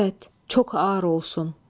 Əvət, çox ar olsun.